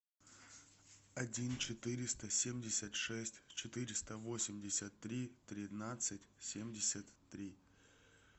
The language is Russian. один четыреста семьдесят шесть четыреста восемьдесят три тринадцать семьдесят три